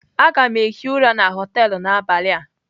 Aga m hie ụra na họtelu n'abalị a.